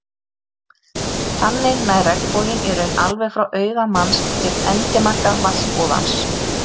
Þannig nær regnboginn í raun alveg frá auga manns til endimarka vatnsúðans.